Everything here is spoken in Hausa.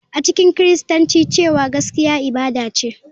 A cikin Kiristanci cewa gaskiya ibada ce,